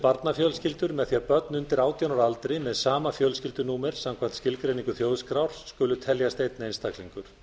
barnafjölskyldur með því að börn undir átján ára aldri með sama fjölskyldunúmer samkvæmt skilgreiningu þjóðskrár skuli teljast einn einstaklingur